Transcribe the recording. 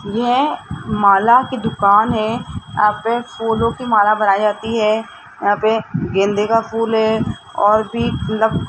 यह माला की दुकान है यहां पर फूलों की माला बनाई जाती है यहां पे गेंदे का फूल है और भी --